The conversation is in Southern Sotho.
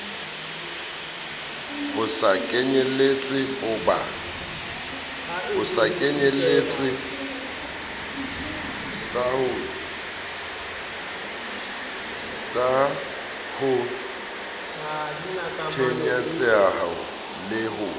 sa ho tenyetseha le ho